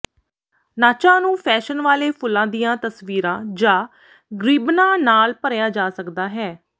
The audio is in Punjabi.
ਨਾਚਾਂ ਨੂੰ ਫੈਸ਼ਨ ਵਾਲੇ ਫੁੱਲਾਂ ਦੀਆਂ ਤਸਵੀਰਾਂ ਜਾਂ ਰਿਬਨਾਂ ਨਾਲ ਭਰਿਆ ਜਾ ਸਕਦਾ ਹੈ